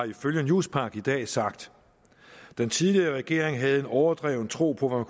ifølge newspaq i dag har sagt den tidligere regering havde en overdreven tro på